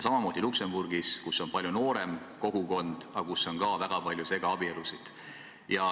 Samamoodi Luksemburgis, kus on palju noorem kogukond, aga kus on ka väga palju segaabielusid.